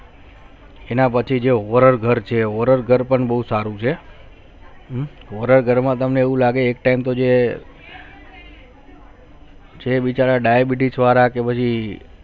એના પછી જે over all ઘર છે તે ઘર પણ બહુ સારું છે થોડા ઘરમાં એવું લાગે તમને એક time